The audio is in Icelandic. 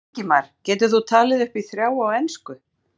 Ingimar: Getur þú talið upp í þrjá á ensku?